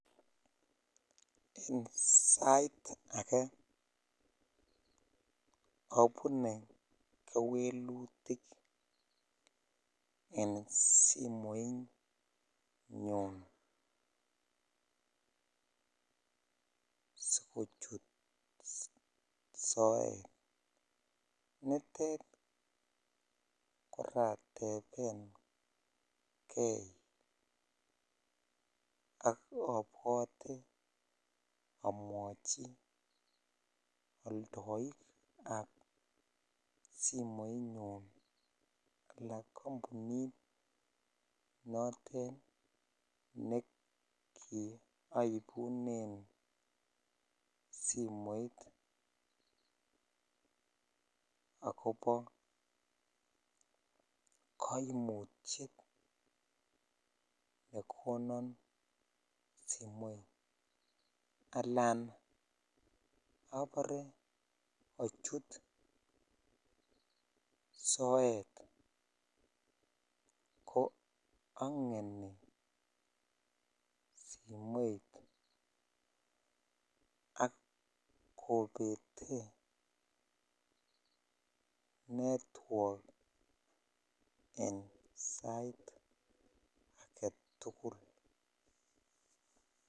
En sait akee obune kewelutik en simoinyun sikochut soet, nitet koratebengei ak obwote omwochi oldoikab simoinyun alaan kombunit notet nekioibunen simoit akobo koimutiet nekonon simoit alaan obore ochut soet ko ongeni simoit ak kobetee network en sait aketukul.